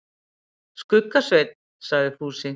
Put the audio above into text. Skugga-Svein, sagði Fúsi.